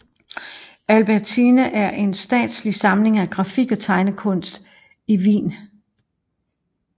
Albertina er en statslig samling af grafik og tegnekunst i Wien